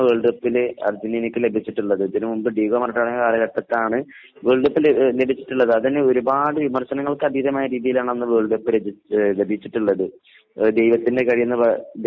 Runner up മാത്രമാണ് world കപ്പിൽ അർജന്റീനക്ക് ലഭിച്ചിട്ടുള്ളത് ഇതിനു മുൻപ് ഡീഗോ മറഡോണയുടെ കാലഘട്ടത്തിലാണ് വേൾഡ് കപ്പ് ലഭിച്ചിട്ടുള്ളത് . അത് വിമർശനങ്ങൾക്ക് അതീതമായ രീതിയിലാണ് വേൾഡ് കപ്പ് ലഭിച്ചട്ടുള്ളത്